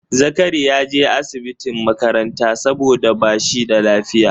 Zakari ya je asibitin makaranta saboda ba shi da lafiya